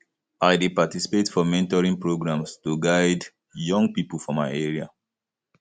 i dey participate for mentoring programs to guide um young people for my area